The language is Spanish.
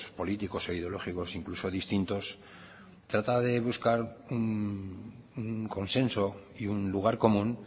políticos e ideológicos incluso distintos trata de buscar un consenso y un lugar común